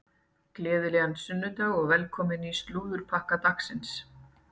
Gleðilegan sunnudag og velkomin í slúðurpakka dagsins.